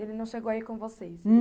Ele não chegou aí com vocês?